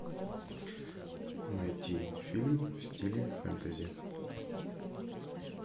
найти фильм в стиле фэнтези